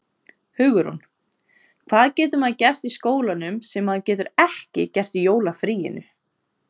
Hugrún: Hvað getur maður gert í skólanum sem maður getur ekki gert í jólafríinu?